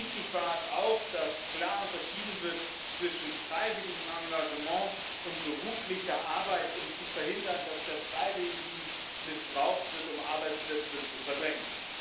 Wichtig war es auch, dass klar unterschieden wird zwischen freiwilligem Engagement und beruflicher Arbeit, um zu verhindern, dass der Freiwilligendienst missbraucht wird, um Arbeitsplätze zu verdrängen.